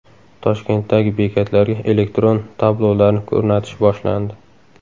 Toshkentdagi bekatlarga elektron tablolarni o‘rnatish boshlandi.